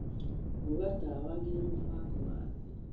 rũnga tawa nginya mũbango wa thĩ